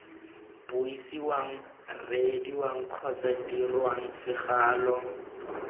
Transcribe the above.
buisiwang reediwang kgotsa dirwang segalo